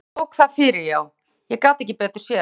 Og hann tók það fyrir já, ég gat ekki betur séð.